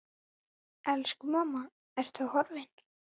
Elsku mamma, Ertu horfin?